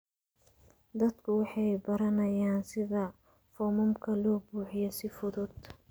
Dadku waxay baranayaan sida foomamka loo buuxiyo si fudud.